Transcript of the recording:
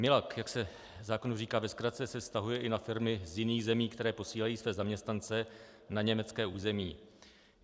MILoG, jak se zákonu říká ve zkratce, se vztahuje i na firmy z jiných zemí, které posílají své zaměstnance na německé území.